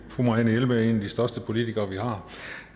fru marianne jelved er en af de største politikere vi har